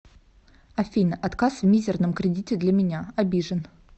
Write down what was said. афина отказ в мизирном кредите для меня обижен